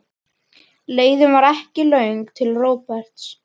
Leiðin var ekki löng til Róberts.